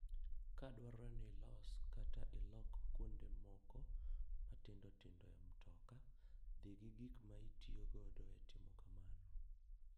Ka dwarore ni ilos kata ilok kuonde moko matindo tindo e mtoka, dhi gi gik ma itiyogo e timo kamano.